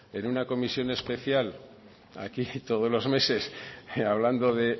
en una comisión especial aquí todos los meses hablando de